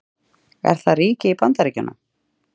Er það ríki í Bandaríkjunum?